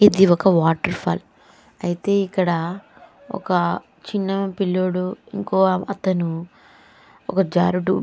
ఇదిఒక waterfall అయితే ఇక్కడ ఒక చిన్న పిల్లోడు ఇంకో అతను ఒక జారుడు --